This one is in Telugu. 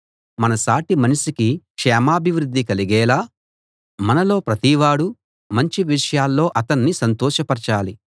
మన సాటిమనిషికి క్షేమాభివృద్ధి కలిగేలా మనలో ప్రతివాడూ మంచి విషయాల్లో అతణ్ణి సంతోషపరచాలి